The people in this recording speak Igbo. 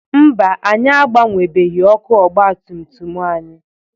Mba, anyị agbenwebeghi ọkụ ọgbatumtum anyị.